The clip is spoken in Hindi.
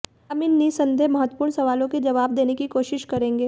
हम इन निस्संदेह महत्वपूर्ण सवालों के जवाब देने की कोशिश करेंगे